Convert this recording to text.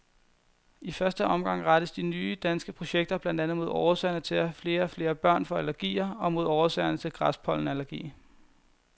I første omgang rettes de nye danske projekter blandt andet mod årsagerne til, at flere og flere børn får allergier og mod årsagerne til græspollenallergi.